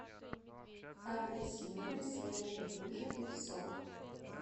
апельсиновый свежевыжатый сок